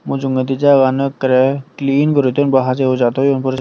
mujungedi jagagano ekkerey clean guri thoyun bu hajey hujai thoyun poris.